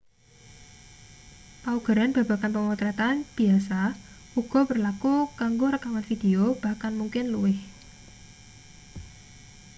paugeran babagan pemotretan biasa uga berlaku kanggo rekaman video bahkan mungkin luwih